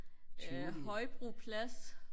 øh Højbro plads